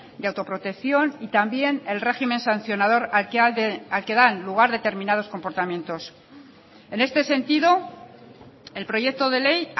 de autoprotección y también el régimen sancionador al que dan lugar determinados comportamientos en este sentido el proyecto de ley